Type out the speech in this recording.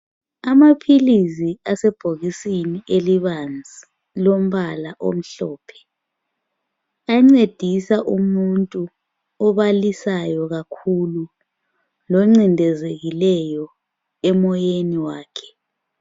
Amaphilizi asebhokisini elibanzi. Lombala omhlophe. Ancedisa umuntu obalisayo kakhulu, loncindezekileyo, emoyeni wakhe.